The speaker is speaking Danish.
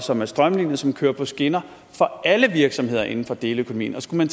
som er strømlinede som kører på skinner for alle virksomheder inden for deleøkonomien skal man